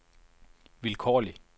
vilkårlig